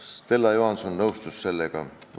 Stella Johanson nõustus sellega.